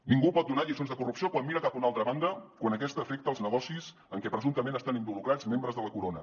ningú pot donar lliçons de corrupció quan mira cap a una altra banda quan aquesta afecta als negocis en què presumptament estan involucrats membres de la corona